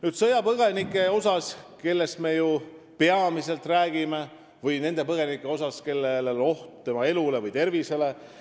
Nüüd sõjapõgenikest, kellest me ju peamiselt räägime, või nendest põgenikest, kelle elu või tervis on ohus.